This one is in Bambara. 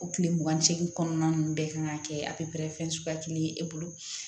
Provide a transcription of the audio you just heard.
O tile mugan ni seegin kɔnɔna ninnu bɛɛ kan ka kɛ a fɛn suguya kelen ye e bolo